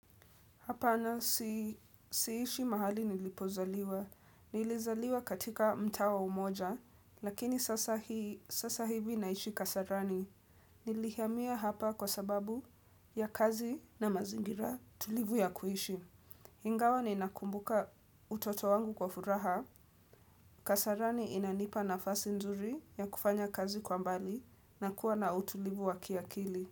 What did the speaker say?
Hapana siishi mahali nilipozaliwa. Nilizaliwa katika mtaa wa umoja, lakini sasa hivi naishi kasarani. Nilihamia hapa kwa sababu ya kazi na mazingira tulivu ya kuishi. Ingawa ninakumbuka utoto wangu kwa furaha. Kasarani inanipa nafasi nzuri ya kufanya kazi kwa mbali na kuwa na utulivu wa kiakili.